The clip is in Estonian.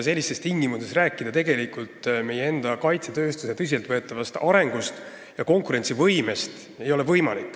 Sellistes tingimustes ei ole tegelikult võimalik rääkida meie enda kaitsetööstuse tõsiselt võetavast arengust ega konkurentsivõimest.